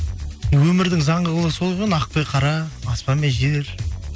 өмірдің заңы солай ғой ақ пен қара аспан мен жер